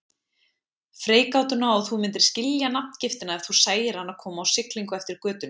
Freigátuna og þú myndir skilja nafngiftina ef þú sæir hana koma á siglingu eftir götunni.